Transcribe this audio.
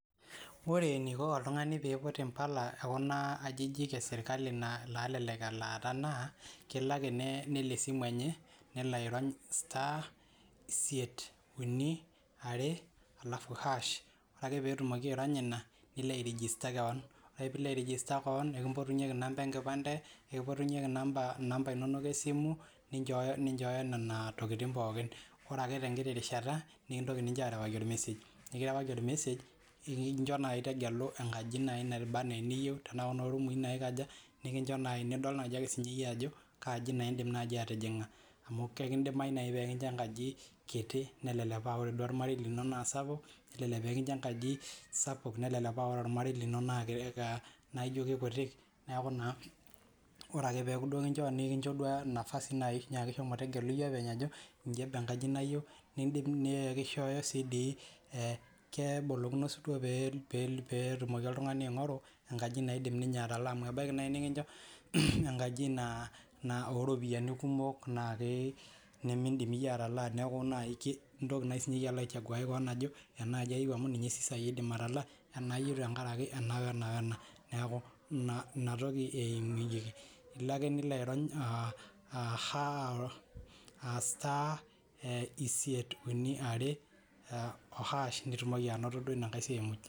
Ore eniko oltung'ani peiput mpala ekuna ajijik eserkali nalelek elaata na kelo ak nelo esimu enye nelo airony star isiet are alafu hash nilo airegista keon nikimpotunyeki nambai enkipande nikimpotunyeki nambai esimu ninchooyo nonatokitin pooki ore tenkiti rishata nikiriwaki ormesej nikicho tegelo rumi anaa eniyieu nikincho nidol sinyeyie ajo kaani indim atijinga amu kidimayu nikincho enkaji kiti nelelek aa ore ormarei lino na sapuk nelelek paabore ormerei lino neaku kekutik neaku ore ake pikincho nafadi nyiaki tegelu openy ajo inji etiu enkaji niyieu na ekincho tegelu kebolikino peingoru enkaji nindim atalaa amu kelo nikincho enkaji oropiyiani kumok nimidim sinyeyie ataalaa neaku keyieu nikinchori enaaji ayieu tenkaraki ena wena neaku inatoki eimunyeki ilo ake nilo airony pitumoki ainoto inasiai muj.